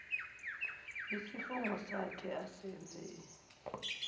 yisifungo sakhe asenze